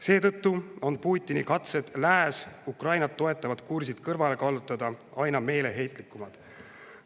Seetõttu on Putini katsed lääs Ukrainat toetavalt kursilt kõrvale kallutada aina meeleheitlikumad.